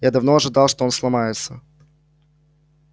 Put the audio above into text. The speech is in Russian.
я давно ожидал что он сломается